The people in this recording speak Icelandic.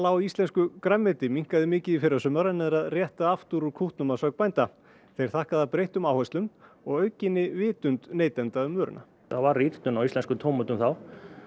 á íslensku grænmeti minnkaði mikið í fyrrasumar en er að rétta aftur úr kútnum að sögn bænda þeir þakka það breyttum áherslum og aukinni vitund neytenda um vöruna það varð rýrnun á íslenskum tómötum þá